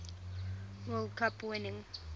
world cup winning